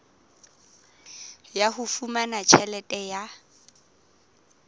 ya ho fumana tjhelete ya